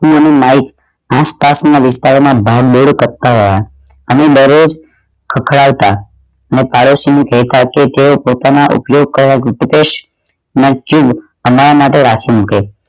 હું અને માઇક નીચ ગીચતા વાળા વિસ્તાર માં ભાગ દોડ કરતાં રહ્યા અને દરરોજ ખ્ખડાવતા આના માટે રાખી મૂકે